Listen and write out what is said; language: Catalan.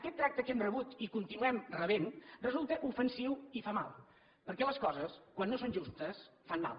aquest tracte que hem rebut i que continuem rebent resulta ofensiu i fa mal perquè les coses quan no són justes fan mal